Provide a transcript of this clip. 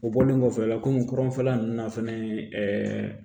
O bɔlen kɔfɛ a la kɔmi kɔrɔnfɛla ninnu na fɛnɛ ɛɛ